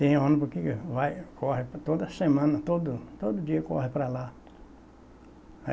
Tem ônibus que vai corre por toda semana, todo todo dia corre para lá.